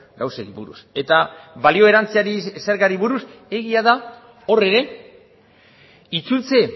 gauzei buruz eta balio erantziari zergari buruz egia da hor ere itzultze